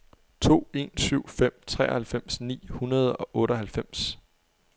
to en syv fem treoghalvfems ni hundrede og otteoghalvfems